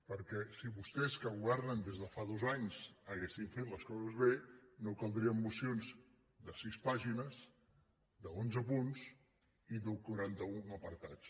perquè si vostès que governen des de fa dos anys haguessin fet les coses bé no caldrien mocions de sis pàgines d’onze punts i de quaranta un apartats